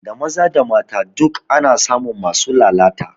Da maza da mata duk ana samun masu lalata